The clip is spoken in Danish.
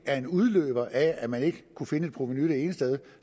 en udløber af at man ikke kunne finde et provenu det ene sted